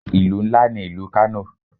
Ìlú ńlá ní ìlú Kano.